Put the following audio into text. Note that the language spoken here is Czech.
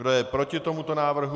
Kdo je proti tomuto návrhu?